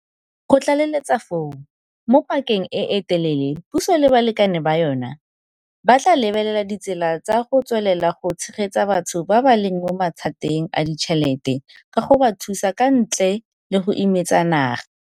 Go tlaleletsa foo, mo pakeng e e telele puso le balekane ba yona ba tla lebelela ditsela tsa go tswelela go tshegetsa batho ba ba leng mo mathateng a ditšhelete ka go ba thusa ka ntle le go imetsa naga.